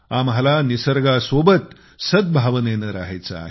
आम्हाला निसर्गासोबत सद्भावनेने राहायचे आहे